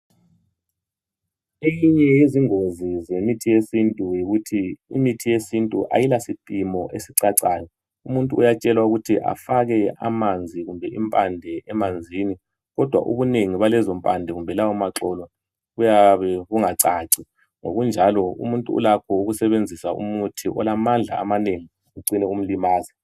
Eminye yezingozi zemithi yesintu yikuthi ,imithi yesintu ayila siphimo esicacayo. Umuntu uyatshelwa ukuthi efake amanzi kumbe impande emanzini. Kodwa ubunengi balezo mpande kumbe lawo maxolo kuyabe kungacaci. Ngokunjalo umuntu Ulakho ukusebenzisa umuthi olamandla amanengi Kucine kumlimaza.